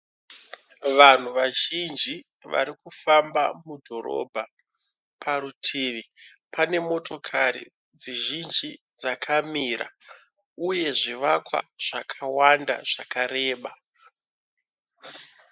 Vanhu vazhinji varikufamba mudhorobha. Parutivi pane motokari dzizhinji dzakamira uye zvivakwa zvakawanda zvakareba.